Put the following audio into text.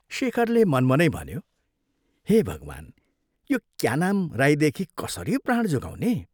शेखरले मनमनै भन्यो, " हे भगवान्, यो ' क्या नाम ' राईदेखि कसरी प्राण जोगाउने?